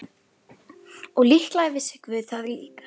Og líklega vissi guð það líka.